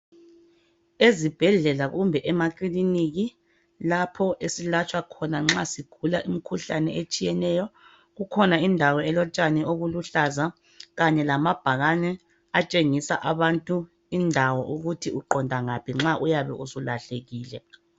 ezibhedlela kumbe emakiliniki lapho esilatshwa khona nxa sigula imikhuhlane etshiyeneyo ikhona indawo elotshani obuluhlaza kanye lamabhakane atshengisa abantu indawo ukuthi uqonda ngaphi nxa ulahlekile